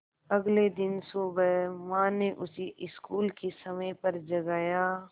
अगले दिन सुबह माँ ने उसे स्कूल के समय पर जगाया